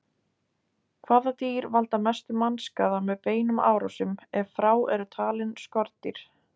Hvaða dýr valda mestum mannskaða með beinum árásum, ef frá eru talin skordýr?